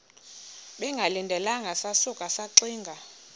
bengalindelanga sasuka saxinga